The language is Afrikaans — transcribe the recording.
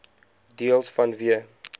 deels vanweë